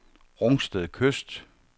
Rungsted Kyst